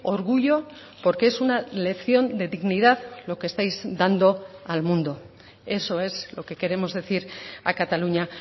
orgullo porque es una lección de dignidad lo que estáis dando al mundo eso es lo que queremos decir a cataluña